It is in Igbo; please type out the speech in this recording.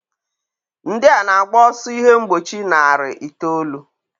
Ndị a na-agba ọsọ ihe mgbochi narị itoolu.